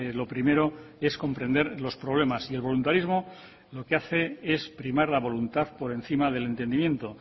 lo primero es comprender los problemas y el voluntarismo lo que hace es primar la voluntad por encima del entendimiento